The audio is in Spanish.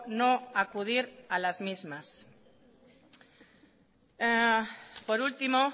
no acudir a las mismas por último